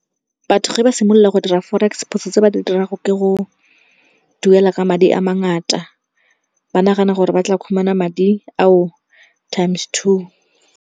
Batho ge ba simolola go dira Forex, phoso tse ba di dirago ke go duela ka madi a mangata, ba nagana gore ba tla khumana madi ao times two.